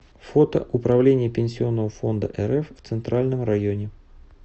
фото управление пенсионного фонда рф в центральном районе